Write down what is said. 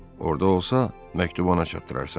Orada olsa, məktubu ona çatdırarsan.